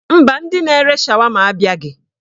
Mba, ndị na-ere shawama abịaghị.